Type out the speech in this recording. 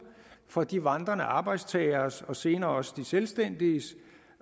for de vandrende arbejdstageres og senere også de selvstændiges